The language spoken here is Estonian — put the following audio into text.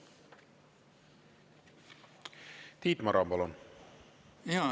Tiit Maran, palun!